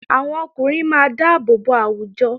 Àwọn ọkùnrin máa dáàbò bo àwùjọ